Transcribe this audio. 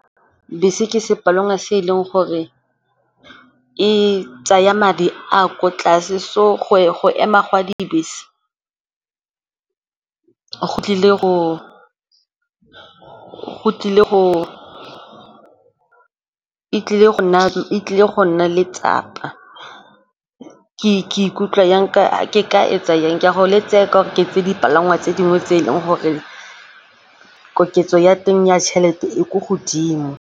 Bese ke sepalangwa se e leng gore e tsaya madi a a ko tlase so go ema ga dibese e tlile go nna letsapa, ke ikutlwa jang, ke ka e tsa jang? Ke a go le tseye gore ke tseye dipalangwa tse dingwe tse e leng gore koketso ya teng ya tšhelete e ko godimo.